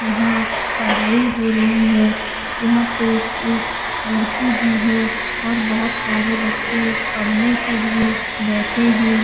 यहाँ पढ़ाई हो रही है। यहाँ पे एक लड़की भी है और बहुत सारे बच्चे पढ़ने के लिए बैठे हैं।